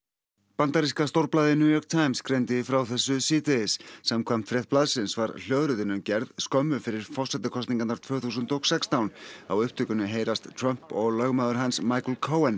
bandaríska stórblaðið New York Times greindi frá þessu síðdegis samkvæmt frétt blaðsins var hljóðritunin gerð skömmu fyrir forsetakosningarnar tvö þúsund og sextán á upptökunni heyrast Trump og lögmaður hans Michael